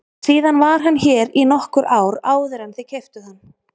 Síðan var hann hér í nokkur ár áður en þið keyptuð hann.